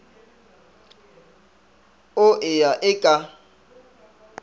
o e ya e ka